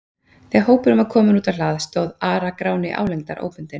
Þegar hópurinn var kominn út á hlað stóð Ara-Gráni álengdar, óbundinn.